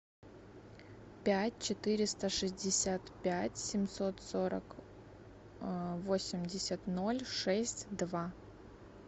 пять четыреста шестьдесят пять семьсот сорок восемьдесят ноль шесть два